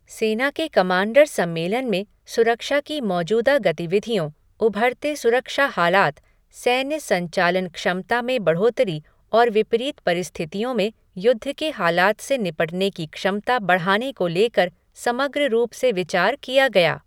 सेना के कमांडर सम्मेलन में सुरक्षा की मौजूदा गतिविधियों, ऊभरते सुरक्षा हालात, सैन्य संचालन क्षमता में बढ़ोतरी और विपरीत परिस्थितियों में युद्ध के हालात से निपटने की क्षमता बढ़ाने को लेकर समग्र रूप से विचार किया गया।